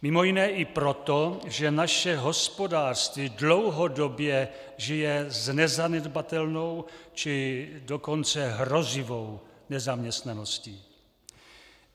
Mimo jiné i proto, že naše hospodářství dlouhodobě žije s nezanedbatelnou, či dokonce hrozivou nezaměstnaností.